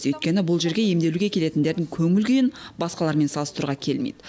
өйткені бұл жерге емделуге келетіндердің көңіл күйін басқалармен салыстыруға келмейді